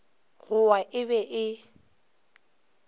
go wa e be e